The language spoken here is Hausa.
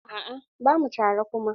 A'a bamu tare kuma.